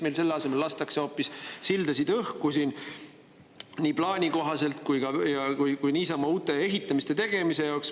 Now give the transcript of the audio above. Meil lastakse selle asemel hoopis sildasid õhku nii plaani kohaselt kui ka niisama, uute ehituste tegemise jaoks.